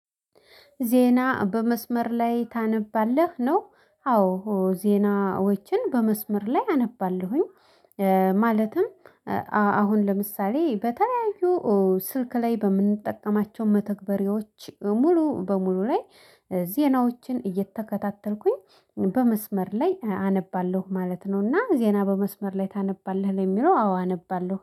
ዜና በመስመር ላይ ታነባለህ ነው? አዎ ዜናዎችን በመስመር ላይ አነባለሁኝ። ማለትም አሁን ለምሳሌ በተለያዩ ስልክ ላይ በምንጠቀማቸው መተግበሪያዎች ሙሉ በሙሉ ላይ ዜናዎችን እየተከታተልኩኝ በመስመር ላይ አነባለሁ ማለት ነው። እና ዜና በመስመር ላይ ታነባለህ ለሚለው አዎ አነባለሁ